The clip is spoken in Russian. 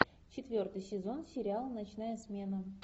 четвертый сезон сериал ночная смена